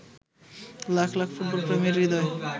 লাখ লাখ ফুটবলপ্রেমীর হৃদয়